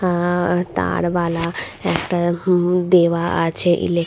আ-আ- আর তারবালা একটা হুম দেওয়া আছে ইলেক--